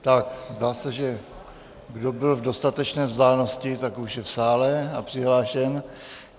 Tak, zdá se, že kdo byl v dostatečné vzdálenosti, tak už je v sále a přihlášen.